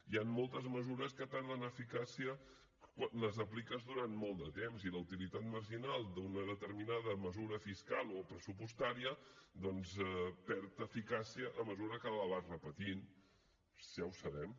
hi han moltes mesures que perden eficàcia quan les apliques durant molt de temps i la utilitat marginal d’una determinada mesura fiscal o pressupostària doncs perd eficàcia a mesura que la vas repetint si ja ho sabem